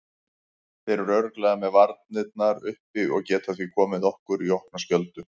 Þeir eru örugglega með varnirnar uppi og geta því komið okkur í opna skjöldu.